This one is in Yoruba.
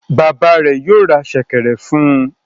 Bàbá rẹ̀ yóò ra ṣẹ̀kẹ̀rẹ̀ fún un.